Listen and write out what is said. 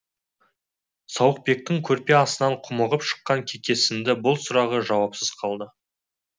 сауықбектің көрпе астынан құмығып шыққан кекесінді бұл сұрағы жауапсыз қалды